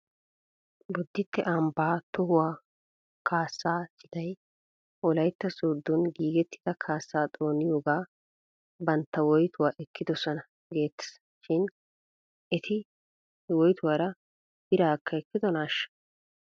Bodditte ambbaa tohuwaa kaasaa citay wolaytta sooddon giigettida kaassaa xooniyooga bantta woytuwaa ekkidosona geettes shin ete he woytuwaara biraakka ekkidonaashsha?